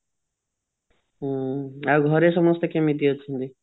ହୁଁ ଆଉ ଘରେ ସମସ୍ତେ କେମିତି ଅଛନ୍ତି